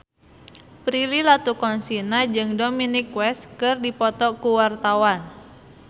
Prilly Latuconsina jeung Dominic West keur dipoto ku wartawan